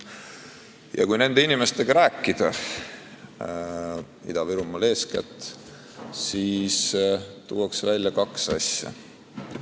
Ja kui nende inimestega eeskätt Ida-Virumaal rääkida, siis tuuakse välja kaks asja.